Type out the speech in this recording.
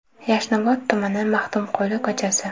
Yashnobod tumani, Maxtumquli ko‘chasi.